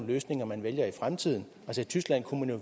løsninger man vælger i fremtiden i tyskland kunne